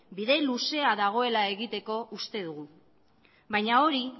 bide luzea dagoela egoteko uste dugu baina hori